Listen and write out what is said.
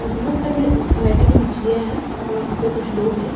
और बहोत साले वैरायटी की मछलियां हैं और वहां पर कुछ लोग है।